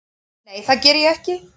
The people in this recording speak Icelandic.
Nei það geri ég ekki.